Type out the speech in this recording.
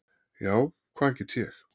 Já, hvað get ég?